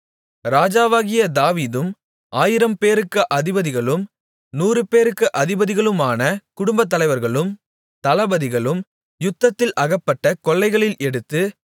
ராஜாவாகிய தாவீதும் ஆயிரம்பேருக்கு அதிபதிகளும் நூறுபேருக்கு அதிபதிகளுமான குடும்பத்தலைவர்களும் தளபதிகளும் யுத்தத்தில் அகப்பட்ட கொள்ளைகளில் எடுத்து